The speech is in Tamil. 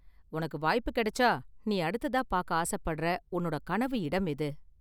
உனக்கு வாய்ப்பு கிடைச்சா நீ அடுத்ததா பார்க்க ஆசைப்படற உன்னோட கனவு இடம் எது?